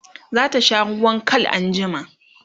zata sha ruwan Kal anjima?